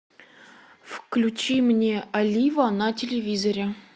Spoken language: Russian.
включи мне олива на телевизоре